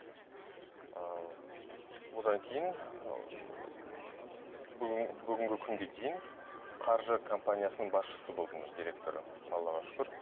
ыыы одан кейін ы бүгінгі күнге дейін қаржы компаниясының басшысы болдым директоры аллаға шүкір